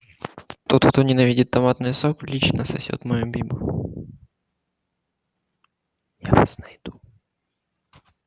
тот кто ненавидит томатный сок лично сосёт мою бибу я вас найду